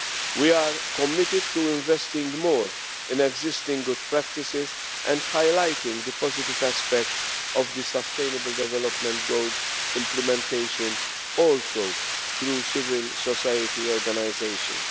We are committed to investing more in existing good practices and highlighting the positive aspects of the Sustainable Development Goals' implementation through civil society organisations.